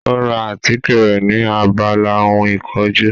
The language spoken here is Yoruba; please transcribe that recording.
Ó ra àtíkè rẹ̀ ni abala ohun ìkojú